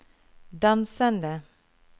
dansende